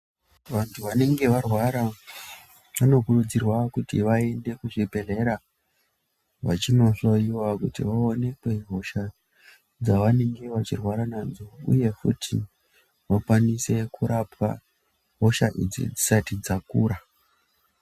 Vantu vanenge varwara vanokurudzirwa kuti vaende kuzvibhedhlera vachindohloiwa kuti vaonekwe hosha dzavanenge vachirwara nadzo uye futi vakwanise kurapwa hosha idzi dzisati dzakura.